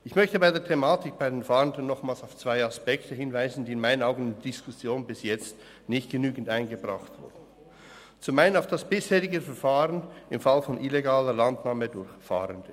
Ich möchte bei der Thematik der Fahrenden nochmals auf zwei Aspekte hinweisen, die in meinen Augen bis jetzt nicht genügend in die Diskussion eingebracht wurden: zum einen auf das bisherige Verfahren im Fall von illegaler Landnahme durch Fahrende.